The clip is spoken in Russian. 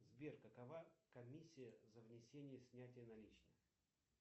сбер какова комиссия за внесение и снятие наличных